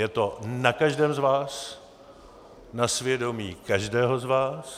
Je to na každém z vás, na svědomí každého z vás.